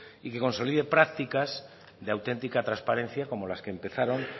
y que consoliden prácticas de auténtica transparencia como las que empezaron